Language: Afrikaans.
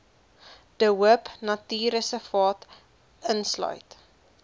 de hoopnatuurreservaat insluit